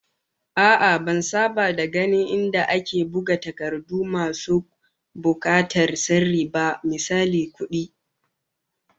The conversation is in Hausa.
A'a, ban saba da ganin inda ake buga takardu masu bukatar sirri ba, misali kamar kudi